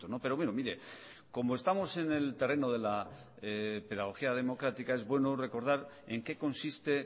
pero bueno mire como estamos en el terreno de la pedagogía democrática es bueno recordar en qué consiste